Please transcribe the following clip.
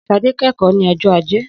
Sade kẹ́kọ̀ọ́ ní ọjọ́ Ajé.